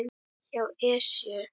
hjá Esju.